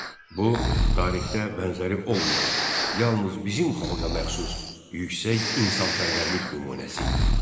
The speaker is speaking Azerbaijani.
Bu tarixdə bənzəri olmayan, yalnız bizim xalqa məxsus yüksək insanpərvərlik nümunəsi idi.